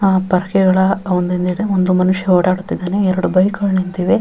ಅಹ್ ಪರ್ಕೆ ಗಳ ಒಂದೊಂದು ಎಡೆ ಒಂದು ಮನುಷ್ಯ ಓಡಾಡುತ್ತಿದ್ದಾನೆ ಎರಡು ಬೈಕ್ ಗಳು ನಿಂತಿದೆ.